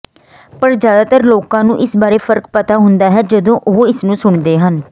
ਪਰ ਜ਼ਿਆਦਾਤਰ ਲੋਕਾਂ ਨੂੰ ਇਸ ਬਾਰੇ ਫਰਕ ਪਤਾ ਹੁੰਦਾ ਹੈ ਜਦੋਂ ਉਹ ਇਸਨੂੰ ਸੁਣਦੇ ਹਨ